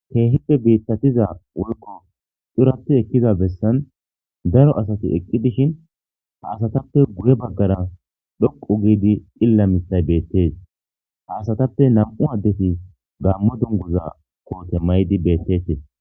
keehippe biittatiza woyko xurati ekkiza bessan daro asati eqqi dishin ha asatappe guye baggara dhoqu giidi xilla mitay beettes ha asatappe nam7u addeti gammo dunguza koote maydi beettetes